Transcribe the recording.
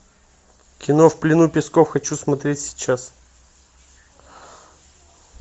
кино в плену песков хочу смотреть сейчас